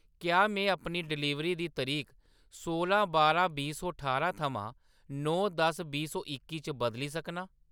क्या में अपनी डिलीवरी दी तरीक सोलां बारां बीह् सौ ठारां थमां नौ दस बीह् सौ इक्की च बदली सकनां ?